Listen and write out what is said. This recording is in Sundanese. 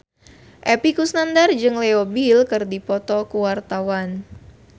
Epy Kusnandar jeung Leo Bill keur dipoto ku wartawan